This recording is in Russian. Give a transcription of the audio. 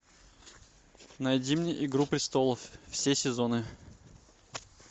найди мне игру престолов все сезоны